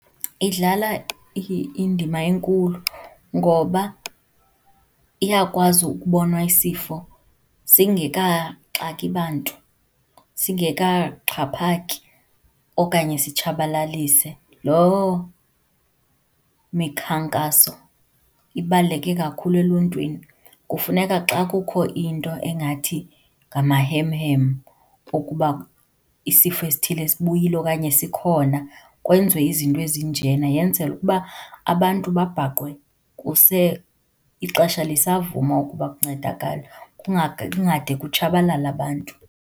Idlala indima enkulu ngoba iyakwazi ukubonwa isifo singekaxaki bantu, singekaxhaphaki okanye sitshabalalise. Loo mikhankaso ibaluleke kakhulu eluntwini. Kufuneka xa kukho into engathi ngamahemhem okuba isifo esithile sibuyile okanye sikhona, kwenziwe izinto ezinjena. Yenzelwe ukuba abantu babhaqwe ixesha lisavuma ukuba kuncedakale, kungade kutshabalale abantu.